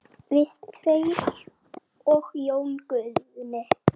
Við tveir og Jón Guðni.